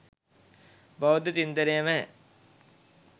බෞද්ධ චින්තනයෙන් ම ය.